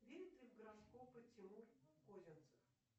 верит ли в гороскопы тимур козинцев